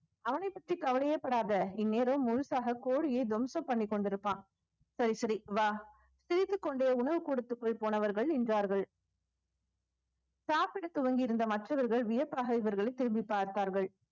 அவனைப் பற்றி கவலையே படாத இந்நேரம் முழுசாக கோழியை துவம்சம் பண்ணிக் கொண்டிருப்பான் சரி சரி வா சிரித்துக் கொண்டே உணவு கூடத்துக்குள் போனவர்கள் நின்றார்கள் சாப்பிடத் துவங்கியிருந்த மற்றவர்கள் வியப்பாக இவர்களை திரும்பிப் பார்த்தார்கள்